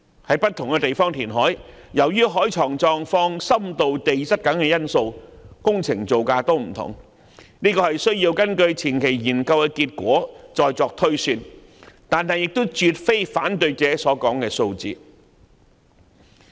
在不同地方填海，由於海床的狀況、深度和地質等因素，工程造價也會有所不同，必須根據前期研究結果再作推算，但亦絕非反對者所說的數字。